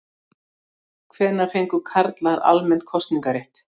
Hvenær fengu karlar almennt kosningarétt?